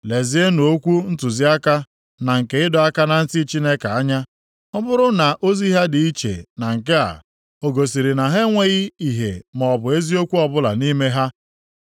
Lezienụ okwu ntụziaka na nke ịdọ aka na ntị Chineke anya. Ọ bụrụ na ozi ha dị iche na nke a, o gosiri na ha enweghị ìhè maọbụ eziokwu ọbụla nʼime ha.